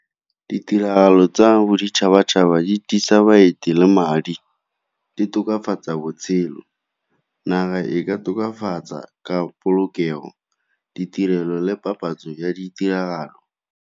Ditiragalo tsa boditšhabatšhaba di baeti le madi, di tokafatsa botshelo. Naga e ka tokafatsa ka polokego ditirelo le papatso ya ditiragalo.